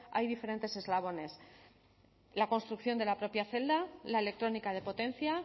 hay diferentes eslabones la construcción de la propia celda la electrónica de potencia